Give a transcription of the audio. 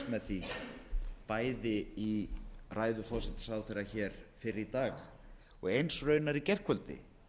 með því bæði í ræðu forsætisráðherra fyrr í dag og eins raunar í gærkvöldi